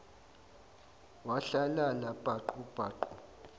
wahlalala paqu paqu